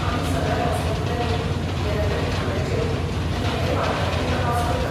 आमी सगळ्या हॉस्पिटलांनी, येरादारी थांब्यांचेर आनी हेर वाठारांनी तपास करतात.